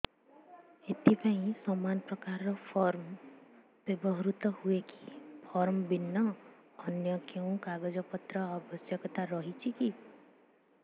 ଏଥିପାଇଁ ସମାନପ୍ରକାର ଫର୍ମ ବ୍ୟବହୃତ ହୂଏକି ଫର୍ମ ଭିନ୍ନ ଅନ୍ୟ କେଉଁ କାଗଜପତ୍ରର ଆବଶ୍ୟକତା ରହିଛିକି